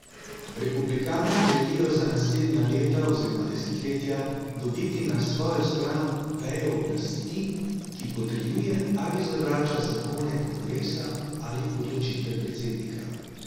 Republikanci želijo za naslednja leta oziroma desetletja dobiti na svojo stran vejo oblasti, ki potrjuje ali zavrača zakone kongresa ali odločitve predsednika.